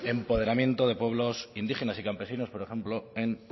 empoderamiento de pueblos indígenas y campesinos por ejemplo en